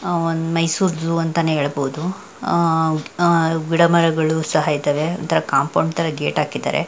ಅಹ್ ಒಂದ್ ಮೈಸೂರ್ ಝೋವ್ ಅಂತಾನೆ ಹೇಳ್ಬಹುದು. ಅಹ್ ಅಹ್ ಗಿಡ ಮರಗಳು ಸಹ ಇದಾವೆ ಒಂದ್ತಾರ ಕಾಂಪೋಂಡ್ ತರಾ ಗೇಟ್ ಹಾಕಿದ್ದಾರೆ.